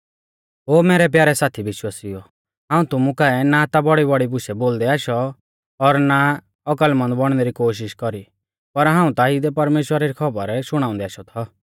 ओ मैरै प्यारै साथी विश्वासिउओ हाऊं तुमु काऐ ना ता बौड़ीबौड़ी बुशु बोलदै आशौ और ना औकलमंद बौणनै री कोशिष कौरी पर हाऊं ता इदै परमेश्‍वरा री खौबर शुणाउंदै आशौ थौ